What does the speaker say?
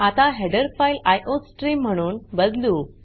आता header file iostream म्हणून बदलू